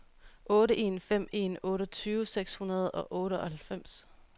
otte en fem en otteogtyve seks hundrede og otteoghalvfems